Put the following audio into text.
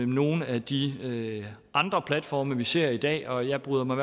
nogle af de andre platforme vi ser i dag og jeg bryder mig